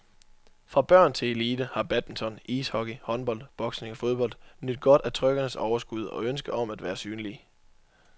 Fra børn til elite har badminton, ishockey, håndbold, boksning og fodbold nydt godt af trykkernes overskud og ønske om at være synlige.